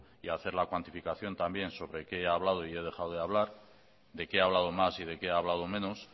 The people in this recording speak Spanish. y hacer la cuantificación también sobre qué ha hablado y he dejado de hablar de qué ha hablado más y de qué he hablado menos